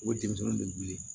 O denmisɛnninw de wili